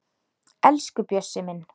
Elsku Bjössi minn.